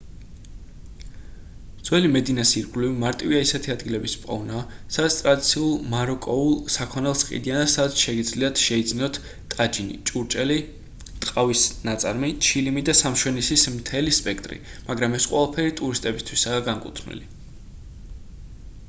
ძველი მედინას ირგვლივ მარტივია ისეთი ადგილების პოვნა სადაც ტრადიციულ მაროკოულ საქონელს ყიდიან და სადაც შეგიძლიათ შეიძინოთ ტაჯინი ჭურჭელი ტყავის ნაწარმი ჩილიმი და სამშვენისის მთელი სპექტრი მაგრამ ეს ყველაფერი ტურისტებისთვისაა განკუთვნილი